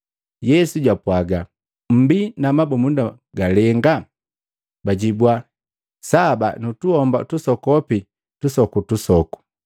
Yesu japwaga, “Mmbi na mabumunda galenga?” Bajibwa, “Saba nutuhomba tusokopi tusokutusoku.”